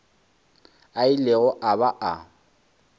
a ilego a ba a